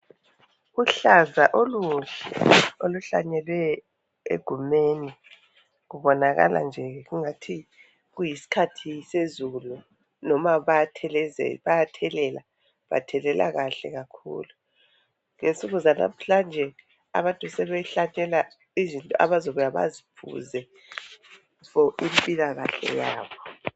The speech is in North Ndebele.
Uhlaza oluhle oluhlanyelwe egumeni. Kubonakala nje kungathi kuyisikhathi sezulu noma bayathelela. Bathelela kahle kakhulu. Ngensuku zanamhlanje abantu sebehlanyela izinto abazobuya baziphuze fo impilakahle yabo.